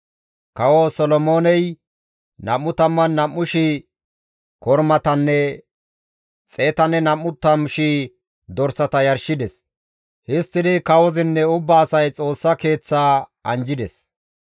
Kawo Solomooney 22,000 kormatanne 120,000 dorsata yarshides; histtidi kawozinne ubba asay Xoossa keeththaa anjjides.